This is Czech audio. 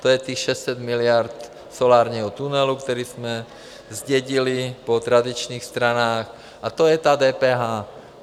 To je těch 600 miliard solárního tunelu, který jsme zdědili po tradičních stranách, a to je ta DPH.